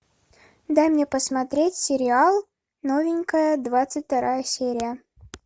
дай мне посмотреть сериал новенькая двадцать вторая серия